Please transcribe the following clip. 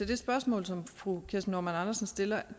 det spørgsmål som fru kirsten normann andersen stiller